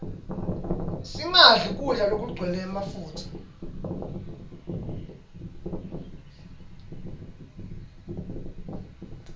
singadli kudla lokugcwele mafutsa